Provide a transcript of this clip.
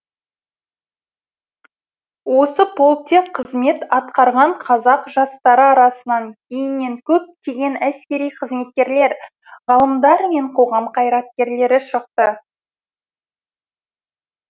осы полкте қызмет атқарған қазақ жастары арасынан кейіннен көптеген әскери қызметкерлер ғалымдар мен қоғам қайраткерлері шықты